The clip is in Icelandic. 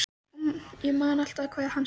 Og ég man alltaf hvað hann sagði.